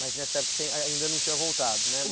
Mas nessa época você ai ainda não tinha voltado, né?